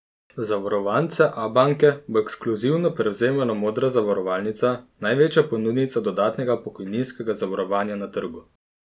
Zavarovance Abanke bo ekskluzivno prevzemala Modra zavarovalnica, največja ponudnica dodatnega pokojninskega zavarovanja na trgu.